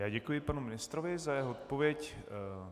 Já děkuji panu ministrovi za jeho odpověď.